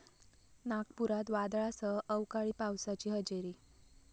नागपुरात वादळासह अवकाळी पावसाची हजेरी